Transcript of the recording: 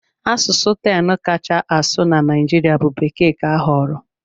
Asụsụ 10 kacha asụ na Naịjirịa bụ Bekee ka a họọrọ.